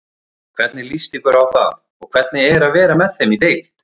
Hvernig líst ykkur á það og hvernig er að vera með þeim í deild?